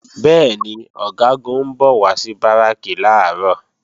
Bẹ́ẹ̀ni, Ọ̀gágun ń bọ̀ wá sí Báràkì làárọ̀